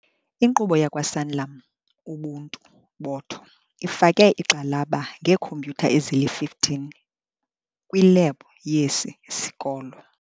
Inkqubo yakwaSanlam Ubuntu botho ifake igxalaba ngeekhompyutha ezili-15 kwilebhu yesi sikolo.